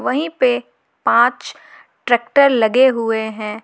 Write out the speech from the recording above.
वहीं पर पांच ट्रैक्टर लगे हुए हैं।